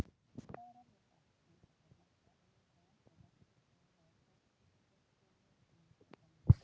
Það er alveg satt, andvarpar Marta, eiginkonan sem lenti við hliðina á þurrpumpunni í sófanum.